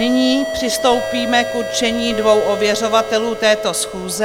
Nyní přistoupíme k určení dvou ověřovatelů této schůze.